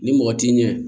Ni mɔgɔ t'i ɲɛ